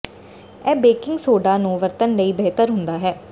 ਇਹ baking soda ਨੂੰ ਵਰਤਣ ਲਈ ਬਿਹਤਰ ਹੁੰਦਾ ਹੈ